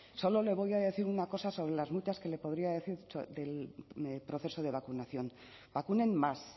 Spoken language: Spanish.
solo le voy a decir una cosa sobre las muchas que le podría decir del proceso de vacunación vacunen más